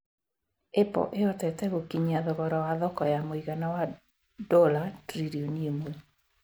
Apple ĩhotete gũkinyia thogora wa thoko wa mũigana wa dola tililioni imwe